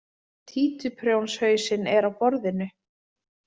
Títuprjónshausinn er á borðinu.